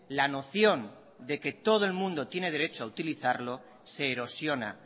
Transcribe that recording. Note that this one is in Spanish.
la noción de que todo el mundo tiene derecho a utilizarlo se erosiona